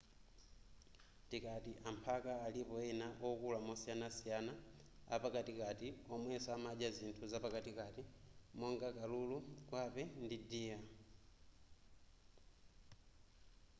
tikati amphaka alipo ena okula mosiyanasiyana apakatikati omwenso amadya zinthu zapakatikati monga kalulu gwape ndi deer